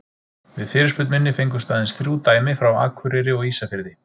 Við fyrirspurn minni fengust aðeins þrjú dæmi frá Akureyri og Ísafirði.